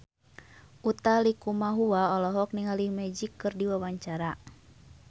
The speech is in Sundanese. Utha Likumahua olohok ningali Magic keur diwawancara